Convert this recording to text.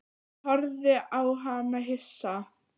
Ég horfði á hana hissa.